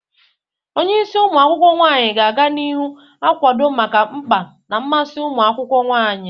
Onye isi umu akwukwo nwanyi ga-aga n'ihu na-akwado maka mkpa na mmasị ụmụ akwụkwọ nwanyị.